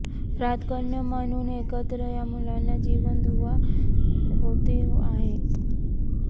प्राक्तन म्हणून एकत्र या मुलांना जीवन दुवा होते आहे